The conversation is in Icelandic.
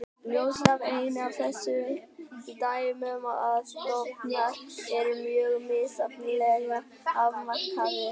Ljóst er einnig af þessum dæmum að stofnar eru mjög misjafnlega afmarkaðir.